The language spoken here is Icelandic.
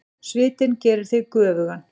Svitinn gerir þig göfugan.